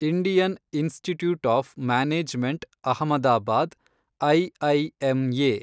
Indian Institute of Management Ahmedabad, IIMA